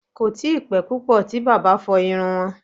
Kò tíi pẹ́ púpọ̀ tí bàbá fọ iru wọn